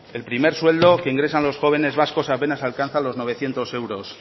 el primer sueldo que ingresan los jóvenes vascos apenas alcanza los novecientos euros